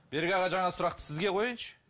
берік аға жаңағы сұрақты сізге қояйыншы